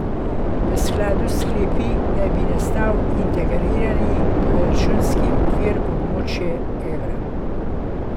V skladu s sklepi naj bi nastal integrirani proračunski okvir območja evra.